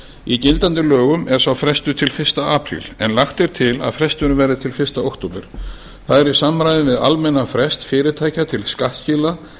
í gildandi lögum er sá frestur til fyrsta apríl en lagt er til að fresturinn verði til fyrsta október það er í samræmi við almennan frest fyrirtækja til skattskila